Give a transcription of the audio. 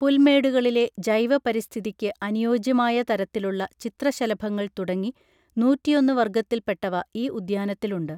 പുൽമേടുകളിലെ ജൈവ പരിസ്ഥിതിയ്ക്ക് അനുയോജ്യമായ തരത്തിലുള്ള ചിത്രശലഭങ്ങൾ തുടങ്ങി നൂറ്റിയൊന്ന് വർഗ്ഗത്തിൽ പെട്ടവ ഈ ഉദ്യാനത്തിലുണ്ട്